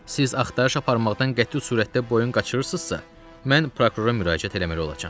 Siz axtarış aparmaqdan qəti surətdə boyun qaçırırsınızsa, mən prokurora müraciət eləməli olacam.